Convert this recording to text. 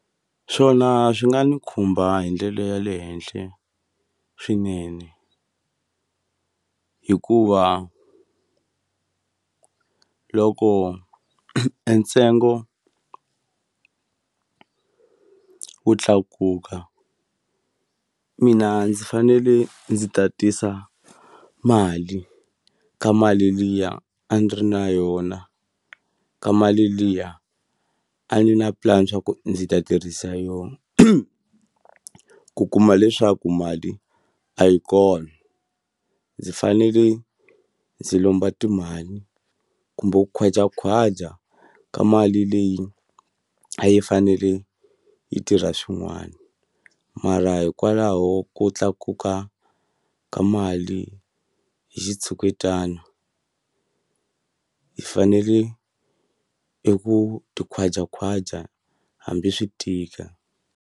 Swona swi nga ndzi khumba hi ndlela ya le henhla swinene. Hikuva loko entsengo wu tlakuka, u mina ndzi fanele ndzi ta tisa mali eka mali liya a ni ri na yona, eka mali liya a ni ri na plan leswaku ndzi ta tirhisa yona. Ku kuma leswaku mali a yi kona, ndzi fanele ndzi lomba timali. Kumbe ku khwajakhwaja ka mali leyi u a yi fanele yi tirha swin'wana. Mara hikwalaho ko tlakuka ka mali hi xitshuketano, hi fanele eku khwajakhwaja hambi swi tika.